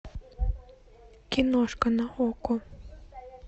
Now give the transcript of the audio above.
киношка на окко